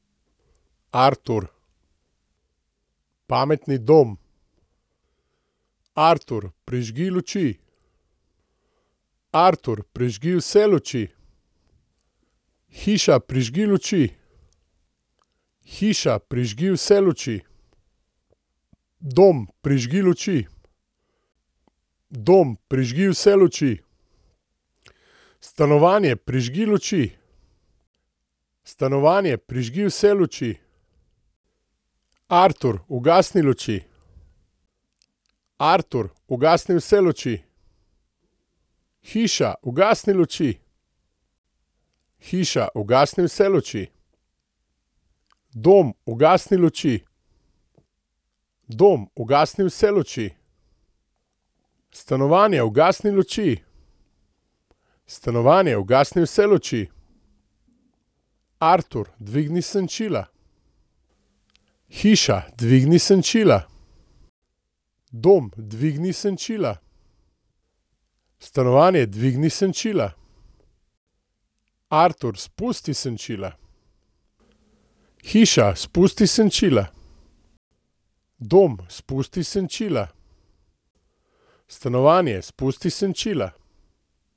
Artur. Pametni dom. Artur, prižgi luči. Artur, prižgi vse luči. Hiša, prižgi luči. Hiša, prižgi vse luči. Dom, prižgi luči. Dom, prižgi vse luči. Stanovanje, prižgi luči. Stanovanje, prižgi vse luči. Artur, ugasni luči. Artur, ugasni vse luči. Hiša, ugasni luči. Hiša, ugasni vse luči. Dom, ugasni luči. Dom, ugasni vse luči. Stanovanje, ugasni luči. Stanovanje, ugasni vse luči. Artur, dvigni senčila. Hiša, dvigni senčila. Dom, dvigni senčila. Stanovanje, dvigni senčila. Artur, spusti senčila. Hiša, spusti senčila. Dom, spusti senčila. Stanovanje, spusti senčila.